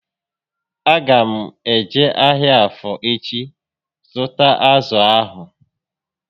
A ga m eje ahịa Afọ echi ịzụta azụ ahụ